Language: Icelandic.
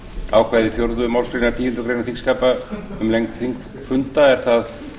ákvæði fjórðu málsgreinar tíundu greinar þingskapa um lengd þingfunda er það